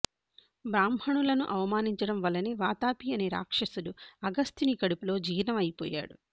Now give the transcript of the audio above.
బ్రాహ్మణులను అవమానించడం వల్లనే వాతాపి అనే రాక్షసుడు అగస్త్యుని కడుపులో జీర్ణం అయిపోయాడు